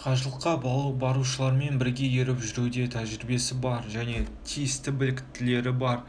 қажылыққа барушылармен бірге еріп жүруде тәжірибесі бар және тиісті біліктіліктері бар